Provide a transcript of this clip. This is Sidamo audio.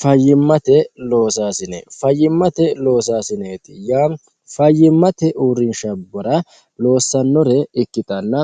fayimmate loosaasine fayyimmate loosaasineeti yaa fayyimmate uurrinshabbara loossannore ikkitanna